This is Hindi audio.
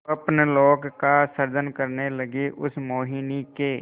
स्वप्नलोक का सृजन करने लगीउस मोहिनी के